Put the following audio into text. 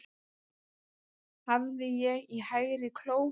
Hafði ég í hægri kló